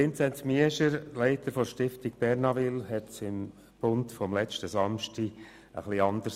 Vinzenz Miescher, Leiter der Stiftung Bernaville, formulierte es im «Bund» vom letzten Samstag ein wenig anders: